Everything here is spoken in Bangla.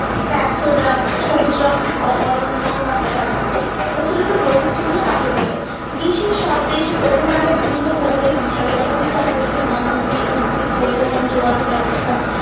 সবুজ রং অরণ্য গাছপালা, প্রচলিত প্রতীক চিহ্ন কাকে বলে? বিশ্বের সব দেশে tropo map এ বিভিন্ন ভৌগোলিক বিষয় যত ভূ-প্রাকৃতিক নদনদী উদ্ভিদ পরিবহন যোগাযোগ ব্যবস্থা।